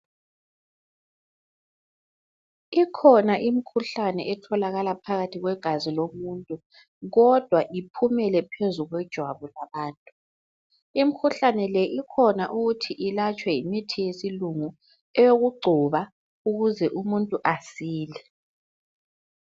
Ikhona imkhuhlane etholakala phakathi kwegazi lomuntu kodwa iphumele phezu kwejwabu labantu. Imikhuhlane le ikhona ukuthi ilatshwe yimithi yesilungu eyokugcoba ukuze umuntu asile.